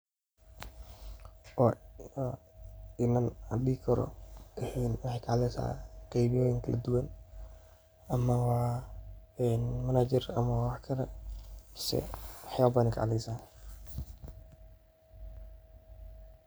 Waa inan in aa dihi karo maxee ka hadleysa waxyala kala duwan waxyalahas ayey ka hadli haysa.